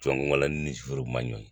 Jɔnko Ala ne ni sufɛriw man ɲɔgɔn ye.